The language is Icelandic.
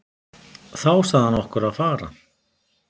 Þá sagði hann okkur að fara.